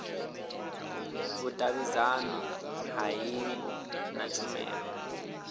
vhudavhidzano ha hingo na tshumelo